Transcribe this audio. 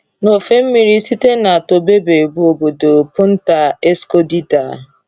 N’ofe mmiri site na Tobobe bụ obodo Punta Escondida.